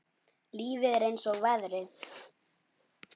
Lífið er eins og veðrið.